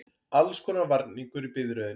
Allskonar varningur í biðröðinni.